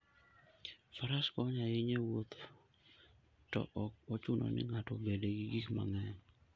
Faras konyo ahinya e wuoth to ok ochuno ni ng'ato obed gi gik mang'eny.